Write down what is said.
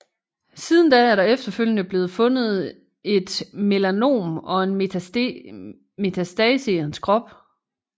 Siden da er der efterfølgende blevet fundet både et melanom og en metastase i hans krop